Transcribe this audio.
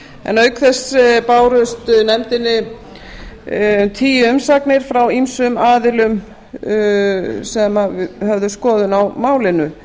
en auk þess bárust nefndinni tíu umsagnir frá ýmsum aðilum sem höfðu skoðun á málinu